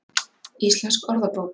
Íslensk orðabók.